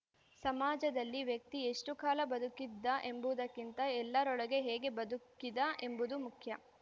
ಸಮಾಜದಲ್ಲಿ ವ್ಯಕ್ತಿ ಎಷ್ಟುಕಾಲ ಬದುಕಿದ್ದ ಎಂಬುವುದಕ್ಕಿಂತ ಎಲ್ಲರೊಳಗೆ ಹೇಗೆ ಬದುಕಿದ ಎಂಬುದು ಮುಖ್ಯ